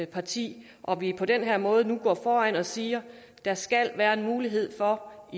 parti og at vi på den her måde nu går foran og siger der skal være en mulighed for at